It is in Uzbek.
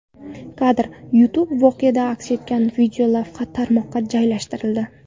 Kadr: YouTube Voqea aks etgan videolavha tarmoqqa joylashtirildi.